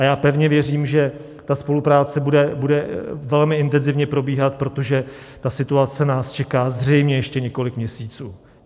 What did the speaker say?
A já pevně věřím, že ta spolupráce bude velmi intenzivně probíhat, protože ta situace nás čeká zřejmě ještě několik měsíců.